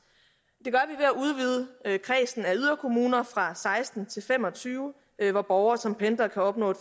det udvide kredsen af yderkommuner fra seksten til fem og tyve hvor borgere som pendler kan opnå